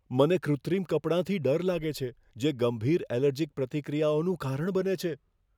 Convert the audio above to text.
મને કૃત્રિમ કપડાંથી ડર લાગે છે, જે ગંભીર એલર્જીક પ્રતિક્રિયાઓનું કારણ બને છે.